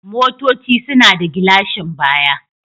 Motoci suna da gilashin baya.